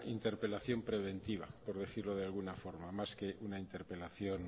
interpelación preventiva por decirlo de alguna forma más que una interpelación